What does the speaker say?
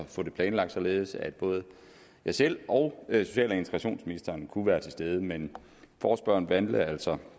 få det planlagt således at både jeg selv og social og integrationsministeren kunne være til stede men forespørgerne valgte altså